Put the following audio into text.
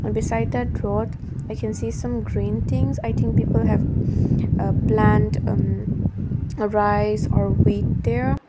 beside that road i can see some green things i think people have ah plant um rice or wheat there.